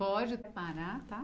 Pode parar, tá?